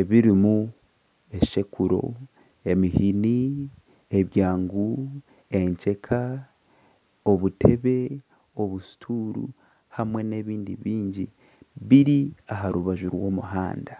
ebirimu eshekuro, emihini, ebyangu, enkyeka, obutebe, obusituuru hamwe n'ebindi bingi. Biri aha rubaju rw'omuhanda.